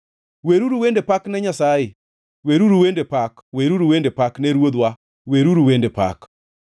Weruru wende pak ne Nyasaye, weruru wende pak; weruru wende pak ne Ruodhwa, weruru wende pak.